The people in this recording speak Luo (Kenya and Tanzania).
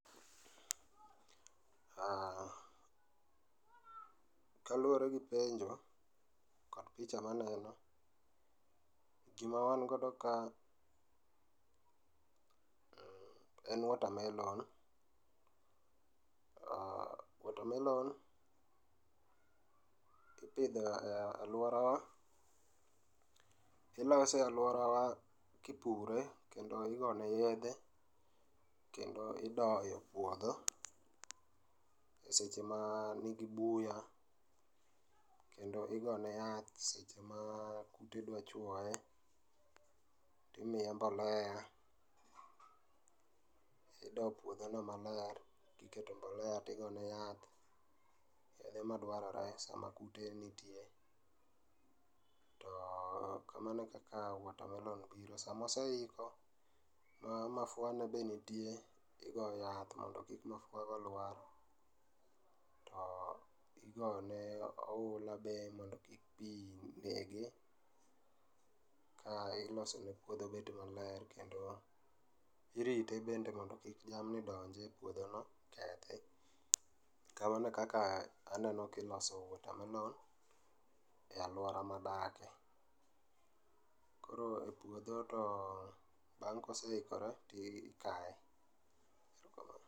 Kaluwore gi penjo, kod picha maneno, gima wan godo ka en water melon ,to watermelon ipidho e alworawa, ilose e alworawa kipure kendo igone yedhe, kendo idoyo puodho seche ma nigi buya, kendo igone yath ma kidwachwoye, timiye mbloea, ido puodhono maler, iketo mbolea tigone yath kwonde ma dwarore, sama kute nitie, to kamano e kaka water melon ipidho. Sama oseiko, mafua ne be nitie, igo yath mondo kik mafuago lwar, to igone be ohula be mondo kik pi nege, ka ilosone puodho bed maler, kendo irite bende mondo kik jamni donj e puodhono, kamano e kaka aneno kiloso watermelon e alwora madakie. Koro e puodho, to bang' koseikore, tikaye.